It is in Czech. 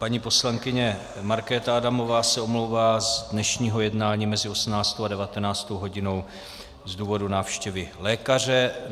Paní poslankyně Markéta Adamová se omlouvá z dnešního jednání mezi 18. a 19. hodinou z důvodu návštěvy lékaře.